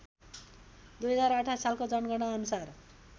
२०२८ सालको जनगणनाअनुसार